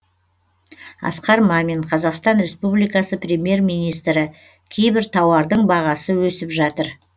асқар мамин қазақстан республикасы премьер министрі кейбір тауардың бағасы өсіп жатыр